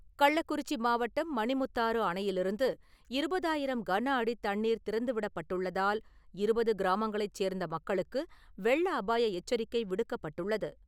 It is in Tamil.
கள்ளக்குறிச்சி மாவட்டம் மணிமுக்தாற்று அணையிலிருந்து இருபதாயிரம் கன அடி தண்ணீர் திறந்துவிடப்பட்டுள்ளதால் இருபது கிராமங்களைச் சேர்ந்த மக்களுக்கு வெள்ள அபாய எச்சரிக்கை விடுக்கப்பட்டுள்ளது.